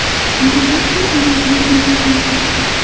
Guvoh ham ular bilan birga bo‘lgan.